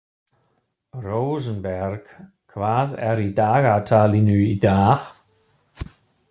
Rósenberg, hvað er í dagatalinu í dag?